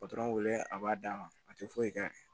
patɔrɔn wele a b'a d'a ma a tɛ foyi kɛ